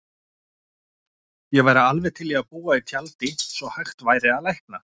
Ég væri alveg til í að búa í tjaldi svo hægt væri að lækna